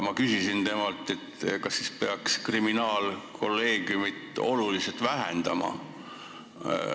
Ma küsisin temalt, kas peaks kriminaalkolleegiumi koosseisu oluliselt vähendama.